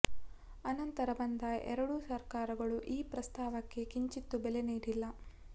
ಅನಂತರ ಬಂದ ಎರಡೂ ಸರ್ಕಾರಗಳು ಈ ಪ್ರಸ್ತಾವಕ್ಕೆ ಕಿಂಚಿತ್ತು ಬೆಲೆ ನೀಡಿಲ್ಲ